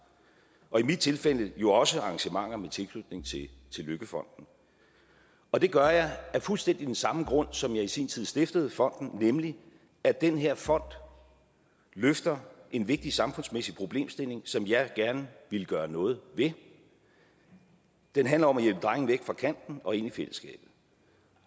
og i mit tilfælde jo også arrangementer med tilknytning til løkkefonden og det gør jeg af fuldstændig den samme grund som jeg i sin tid stiftede fonden nemlig at den her fond løfter en vigtig samfundsmæssig problemstilling som jeg gerne ville gøre noget ved den handler om at hjælpe drenge væk fra kanten og ind i fællesskabet